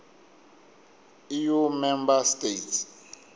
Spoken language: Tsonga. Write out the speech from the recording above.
eu member states